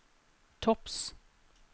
topps